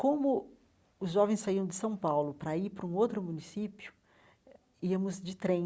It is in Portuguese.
Como os jovens saíam de São Paulo para ir para um outro município, íamos de trem,